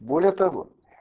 более того